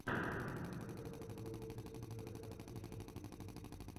можешь показать влог джесси джоя офишел в ютюбе